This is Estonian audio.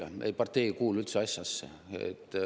Ei, partei ei üldse asjasse.